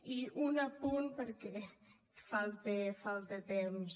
i un apunt perquè falta temps